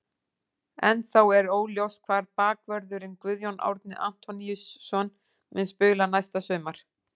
Ennþá er óljóst hvar bakvörðurinn Guðjón Árni Antoníusson mun spila næsta sumar.